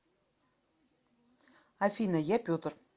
афина я петр